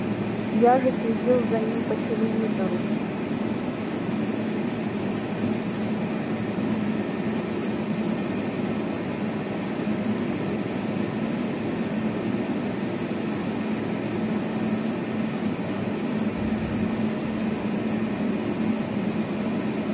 я же следил за ним по телевизору